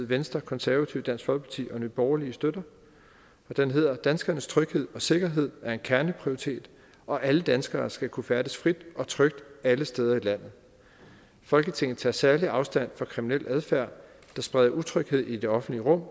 venstre det konservative folkeparti dansk folkeparti og nye borgerlige støtter og den lyder danskernes tryghed og sikkerhed er en kerneprioritet og alle danskere skal kunne færdes frit og trygt alle steder i landet folketinget tager særligt afstand fra kriminel adfærd der spreder utryghed i det offentlige rum